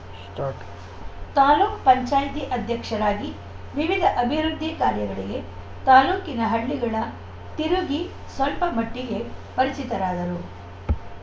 start ತಾಲೂಕ ಪಂಚಾಯತಿ ಅಧ್ಯಕ್ಷರಾಗಿ ವಿವಿಧ ಅಭಿವೃದ್ದಿ ಕಾರ್ಯಗಳಿಗೆ ತಾಲೂಕಿನ ಹಳ್ಳಿಗಳ ತಿರುಗಿ ಸ್ವಲ್ಪ ಮಟ್ಟಿಗೆ ಪರಿಚಿತರಾದರು